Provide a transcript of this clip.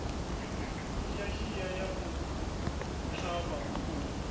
shiashia ya u ṱhavha khuhu